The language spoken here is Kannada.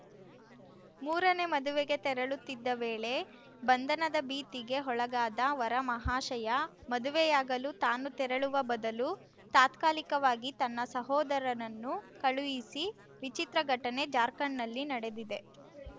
ಮೂರನೇ ಮದುವೆಗೆ ತೆರಳುತ್ತಿದ್ದ ವೇಳೆ ಬಂಧನ ಭೀತಿಗೆ ಒಳಗಾದ ವರ ಮಹಾಶಯ ಮದುವೆಯಾಗಲು ತಾನು ತೆರಳುವ ಬದಲು ತಾತ್ಕಾಲಿಕವಾಗಿ ತನ್ನ ಸೋದರನನ್ನು ಕಳುಹಿಸಿ ವಿಚಿತ್ರ ಘಟನೆ ಜಾರ್ಖಂಡ್‌ನಲ್ಲಿ ನಡೆದಿದೆ